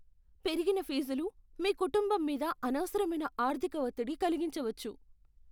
పెరిగిన ఫీజులు మీ కుటుంబం మీద అనవసరమైన ఆర్థిక ఒత్తిడి కలిగించవచ్చు.